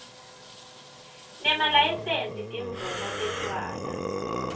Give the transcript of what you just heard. nemalayisensi timvumo tetjwala